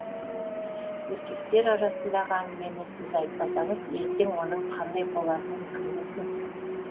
еркектер арасындағы әңгімені сіз айтпасаңыз ертең оның қандай болатынын кім білсін